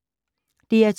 DR2